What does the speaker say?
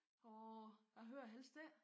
Åh jeg hører det helst ikke